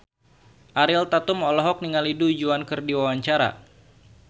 Ariel Tatum olohok ningali Du Juan keur diwawancara